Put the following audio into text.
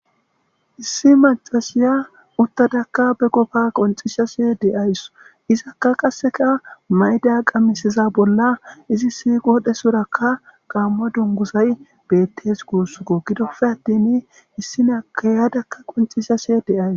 Issi macashiya uttadakka be qofa qoncisashshe de'ayus izakka qasseka mayda qamisiza bolla izissi qodhdhsorakka gammo dunguzay beettes guussuko gidofe attin issi naykka yadakka qoncisashashe de'ayus